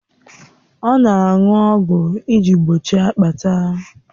Ọ na-aṅụ ọgwụ iji gbochie akpata